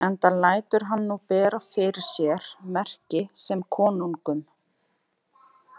Enda lætur hann nú bera fyrir sér merki sem konungum.